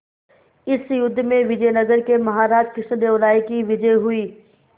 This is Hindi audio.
इस युद्ध में विजय नगर के महाराज कृष्णदेव राय की विजय हुई